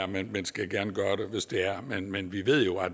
men skal gerne gøre det hvis det er men vi ved jo at